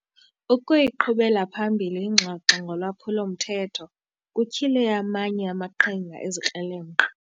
Ukuyiqhubela phambili ingxoxo ngolwaphulo-mthetho kutyhile amanye amaqhinga ezikrelemnqa.